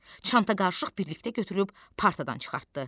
Çanta qarışıq birlikdə götürüb partadan çıxartdı.